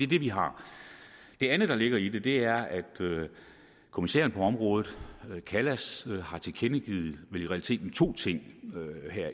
det vi har det andet der ligger i det det er at kommissæren på området kallas har tilkendegivet vel i realiteten to ting